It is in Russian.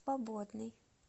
свободный